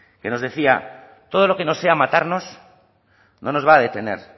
que nos decía todo lo que no sea matarnos no nos va a detener